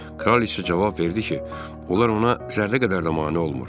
Kraliçə cavab verdi ki, onlar ona zərrə qədər də mane olmur.